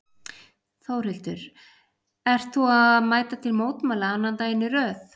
Þórhildur: Ert þú að mæta til mótmæla annan daginn í röð?